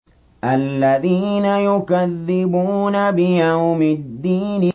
الَّذِينَ يُكَذِّبُونَ بِيَوْمِ الدِّينِ